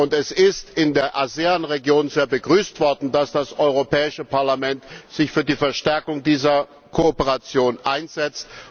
Es ist in der ASEAN Region sehr begrüßt worden, dass das Europäische Parlament sich für die Verstärkung dieser Kooperation einsetzt.